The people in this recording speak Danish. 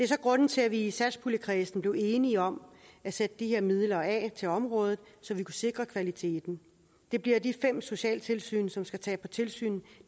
så grunden til at vi i satspuljekredsen blev enige om at sætte de her midler af til området så vi kunne sikre kvaliteten det bliver de fem socialtilsyn som skal tage på tilsyn